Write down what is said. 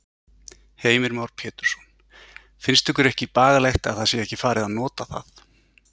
Heimir Már Pétursson: Finnst ykkur ekki bagalegt að það sé ekki farið að nota það?